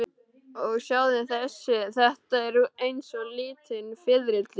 Og sjáðu þessi, þetta eru eins og lítil fiðrildi.